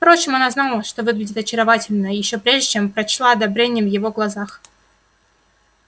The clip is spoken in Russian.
впрочем она знала что выглядит очаровательно ещё прежде чем прочла одобрение в его глазах